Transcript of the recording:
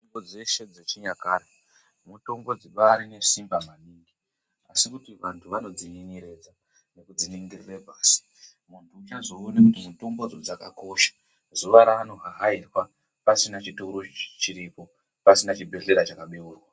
Mitombo dzeshe dzechinyakare mitombo dzibari nesimba maningi asi kuti vantu vanodzinyenyeredza nekudziningirire pasi muntu uchazoone kuti mitombodzo dzakakosha zuwa raanohahairwa pasina chitoro chiripo pasina chibhedhlera chakabeurwa.